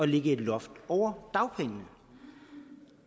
lægge et loft over dagpengene